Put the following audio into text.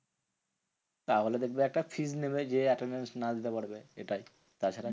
তাহলে দেখবে একটা fees নেবে যে attendance না দিতে পারবে এটাই তাছাড়া